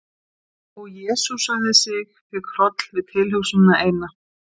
Og jesúsaði sig, fékk hroll við tilhugsunina eina.